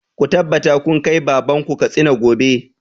Ku tabbata kun kai baban ku Katsina gobe!